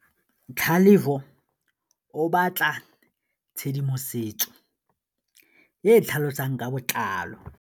Tlhalefô o batla tshedimosetsô e e tlhalosang ka botlalô.